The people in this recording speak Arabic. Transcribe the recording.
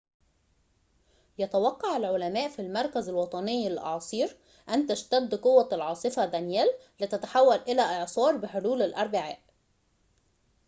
يتوقّع العلماء في المركز الوطني للأعاصير أن تشتد قوة العاصفة دانييل لتتحول إلى إعصار بحلول الأربعاء